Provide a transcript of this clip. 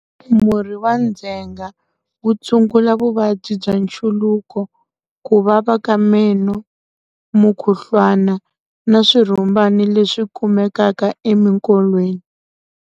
Murhi wa ndzhenga wu tshungula vuvabyi bya nchuluko, ku vava ka meno, mukhuhlwana na swirhumbana leswi kumekaka emikolweni.